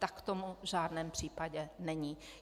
Tak tomu v žádném případě není.